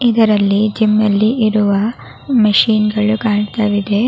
ಇದರಲ್ಲಿ ಜಿಮ್ ಅಲ್ಲಿ ಇರುವ ಮಷಿನ್ ಗಳು ಕಾಣ್ತಾ ಇದೆ.-